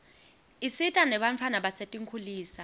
isita nebantfwana basetinkhulisa